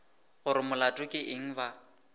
gore molato ke eng ba